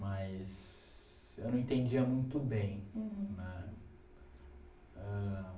Mas eu não entendia muito bem. Uhum. Né? Ãh...